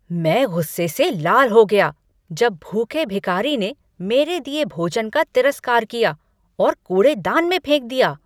मैं गुस्से से लाल हो गया जब भूखे भिखारी ने मेरे दिए भोजन का तिरस्कार किया और कूड़ेदान में फेंक दिया।